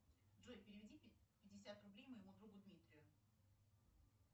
джой переведи пятьдесят рублей моему другу дмитрию